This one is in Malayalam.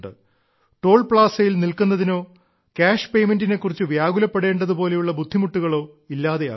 ടോൾ പ്ലാസയിൽ നിൽക്കുന്നതിനോ കാഷ് പെയ്മെന്റിനെ കുറിച്ച് വ്യാകുലപ്പെടേണ്ടതു പോലെയുള്ള ബുദ്ധിമുട്ടുകളും ഇല്ലാതാകുന്നു